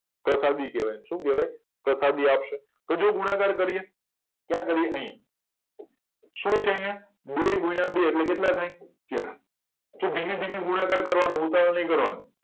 પ્રસાદી કેવાય શું કેવાય પ્રસાદી આપશે તો જે ગુણકાર કર્યા ક્યાં કર્યા અહિયાં શું છે અહિયાં બે ગુણ્યા બે એટલે કેટલા થાય ચાર તો ધીરે ધીરે ગુણાકાર કરવા નો ઉતાવળ નહી કરવા ની